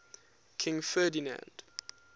king ferdinand